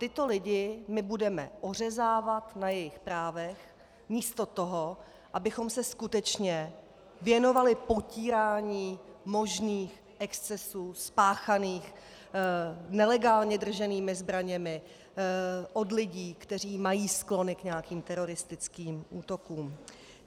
Tyto lidi my budeme ořezávat na jejich právech místo toho, abychom se skutečně věnovali potírání možných excesů spáchaných nelegálně drženými zbraněmi od lidí, kteří mají sklony k nějakým teroristickým útokům.